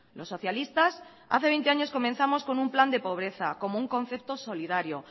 los socialistas hace veinte años comenzamos con un plan de pobreza como un concepto solidario